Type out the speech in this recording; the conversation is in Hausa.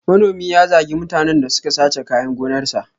Manomin ya zagi mutanen da suka sace kayan gonarsa.